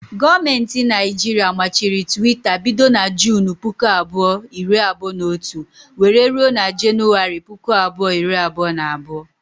Gọọmenti Naijiria machiri Twitter bido na Junu puku abụọ, iri abụọ na otu wéré rụọ na januwari, puku abụọ iri abụọ na abụọ